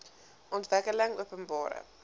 ontwikkelingopenbare